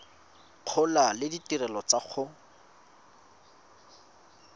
gola le ditirelo tsa go